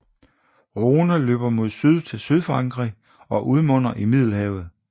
Rhône løber mod syd til sydfrankrig og udmunder i Middelhavet